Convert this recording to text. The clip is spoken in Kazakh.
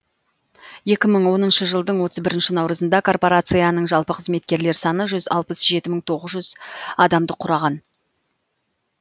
екі мың оныншы жылдың отыз бірінші наурызында корпорацияның жалпы қызметкерлер саны жүз алпыс жеті мың тоғыз жүз адамды құраған